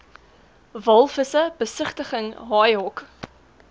walvisse besigtiging haaihok